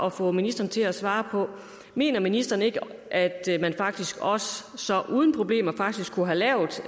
at få ministeren til at svare på mener ministeren ikke at man faktisk også uden problemer kunne have lavet